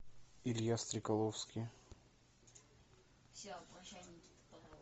илья стрекаловский